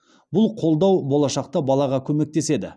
бұл қолдау болашақта балаға көмектеседі